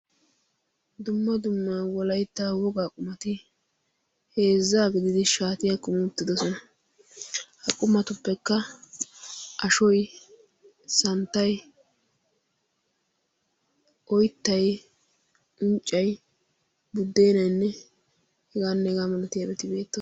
dumma dummaa wolaitta wogaa qumati heezzaa gididi shaatiyaa kumi uttidosona ha qumatuppekka ashoi santtai oittai unccai buddeenainne hegaannegaa malati abettibeetto